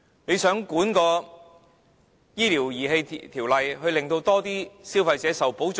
它想藉"醫療儀器條例"來監管市場，令更多消費者受保障。